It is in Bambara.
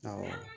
Awɔ